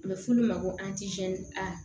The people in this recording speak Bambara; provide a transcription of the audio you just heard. A bɛ f'ulu ma ko a